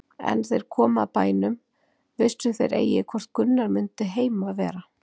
En er þeir komu að bænum vissu þeir eigi hvort Gunnar mundi heima vera.